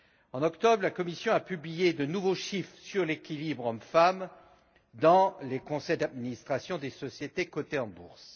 En octobre, la Commission a publié de nouveaux chiffres sur l'équilibre hommes femmes dans les conseils d'administration des sociétés cotées en bourse.